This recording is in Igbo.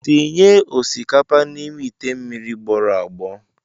Tinye osikapa n'ime ite mmiri gbọrọ agbọ.